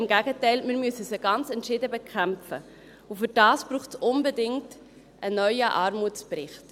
Im Gegenteil: Wir müssen sie ganz entschieden bekämpfen, und dazu braucht es unbedingt einen neuen Armutsbericht.